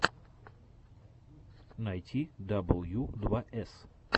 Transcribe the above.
найти дабл ю два эс